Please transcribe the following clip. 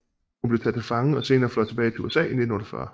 Hun blev taget til fange og senere fløjet tilbage til USA i 1948